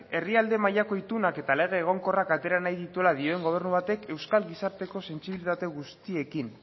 herrialde mailako itunak eta lege egonkorrak atera nahi dituela dioen gobernu batek euskal gizarteko sentsibilitate guztiekin